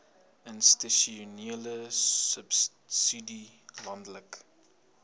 institusionele subsidie landelike